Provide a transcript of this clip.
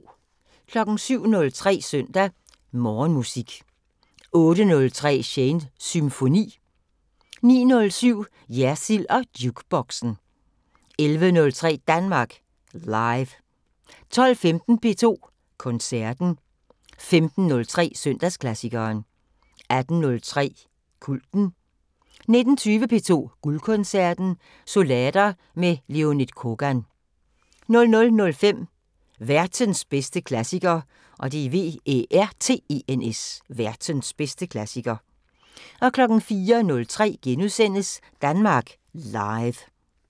07:03: Søndag Morgenmusik 08:03: Shanes Symfoni 09:07: Jersild & Jukeboxen 11:03: Danmark Live 12:15: P2 Koncerten 15:03: Søndagsklassikeren 18:03: Kulten 19:20: P2 Guldkoncerten – Sonater med Leonid Kogan 00:05: Værtens bedste klassiker 04:03: Danmark Live *